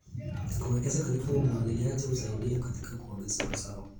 Kuwekeza katika umwagiliaji husaidia katika kuongeza mazao.